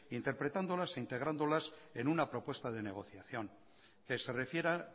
interpretándolas e integrándolas en una propuesta de negociación que se refiera